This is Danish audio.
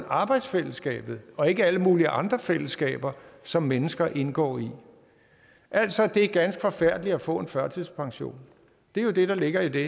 arbejdsfællesskabet og ikke alle mulige andre fællesskaber som mennesker indgår i altså at det er ganske forfærdeligt at få en førtidspension det er jo det der ligger i det